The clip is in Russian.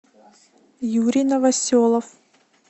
юрий новоселов